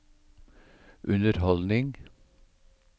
underholdning